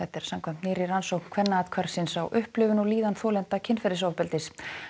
samkvæmt nýrri rannsókn Kvennaathvarfsins á upplifun og líðan þolenda kynferðisofbeldis